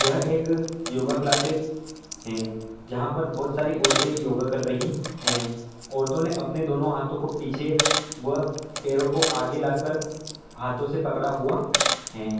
यहा एक yoga classes है जहा पर बहुत सारी औरते योगा कर रही है औरतों ने अपने दोनों हाथों को पीछे व पेरो को आगे ला कर हाथों से पकड़ा हुआ है।